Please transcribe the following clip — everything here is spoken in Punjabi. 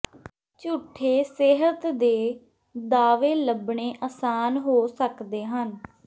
ਝੂਠੇ ਸਿਹਤ ਦੇ ਦਾਅਵੇ ਲੱਭਣੇ ਆਸਾਨ ਹੋ ਸਕਦੇ ਹਨ